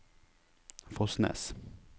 Fosnes